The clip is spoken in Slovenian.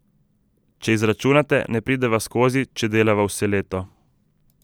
Če izračunate, ne prideva skozi, če delava vse leto.